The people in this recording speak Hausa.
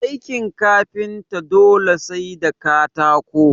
Aikin kafinta dole sai da katako